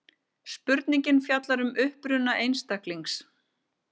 Spurningin fjallar um uppruna einstaklings.